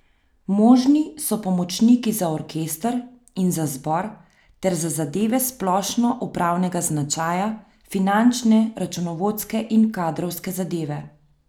Možni so pomočniki za orkester in za zbor ter za zadeve splošno upravnega značaja, finančne, računovodske in kadrovske zadeve.